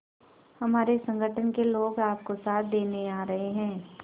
हमारे संगठन के लोग आपका साथ देने आ रहे हैं